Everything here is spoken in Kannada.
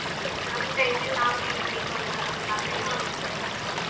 ಮಾಡ್ಬೇಕು ಅಂತೇಳಿ ನಮ್ ಕೈ ಮೇಲ್ ನಾವು ನಿಲ್ಲಬೇಕಂತ ನಮ್ ಕಾಲ ನಾವ್ ನಿಲ್ಲಬೇಕಂತ.